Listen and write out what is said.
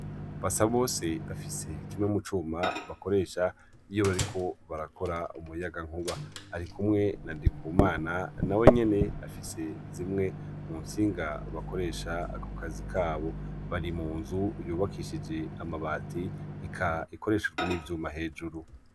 basabose afise kimwe mucuma bakoresha iyo bariko barakora umuyagankuba arikumwe na ndikumana nawenyene afise zimwe muntsiga bakoresha kukazi kabo bari munzu yubakishijwe amabati eka ikoreshejwe n' ivyuma hejuru.